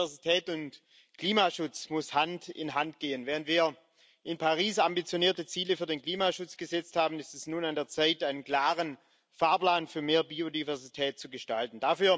Biodiversität und Klimaschutz müssen Hand in Hand gehen. Wenn wir in Paris ambitionierte Ziele für den Klimaschutz gesetzt haben, ist es nun an der Zeit, einen klaren Fahrplan für mehr Biodiversität zu gestalten.